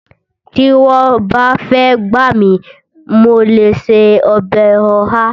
Tí wọ́n bá fàyè gbà mi, mo lè ṣe ọbẹ̀ ọ̀há